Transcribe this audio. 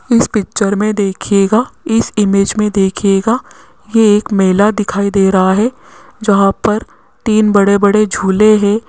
इस पिक्चर में देखिएगा इस इमेज में देखिएगा ये एक मेला दिखाई दे रहा है जहां पर तीन बड़े बड़े झूले है।